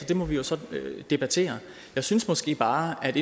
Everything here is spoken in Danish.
det må vi jo så debattere jeg synes måske bare at